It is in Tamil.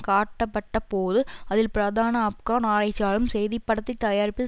காட்டப்பட்டபோது அதில் பிரதான ஆப்கான் ஆராய்சியாளரும் செய்திப்படத்தை தயாரிப்பதில்